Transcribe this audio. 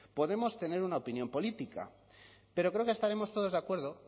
podemos tener una opinión política pero creo que estaremos todos de acuerdo